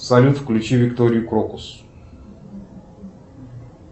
салют включи викторию крокус